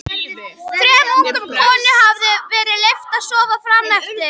Þrem ungum konum hafði verið leyft að sofa fram eftir.